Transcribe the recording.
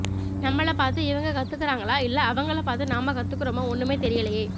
நம்மள பாத்து இவங்க கத்துக்காரங்களா இல்லே அவங்கள பாத்து நாம கத்துக்குறோமா ஒண்ணுமே தெரியலேயே